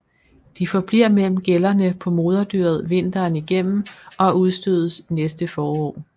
De forbliver mellem gællerne på moderdyret vinteren igennem og udstødes næste forår